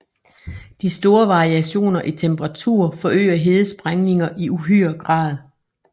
De store variationer i temperatur forøger hedesprængninger i uhyre grad